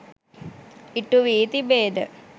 ඉටු වී තිබේද?